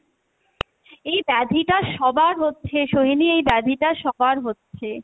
এই ব্যাধি টা সবার হচ্ছে সোহিনী এই ব্যাধি টা সবার হচ্ছে।